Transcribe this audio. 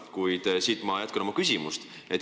Kuid ma jätkan siit oma küsimust.